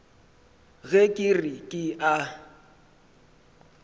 ge ke re ke a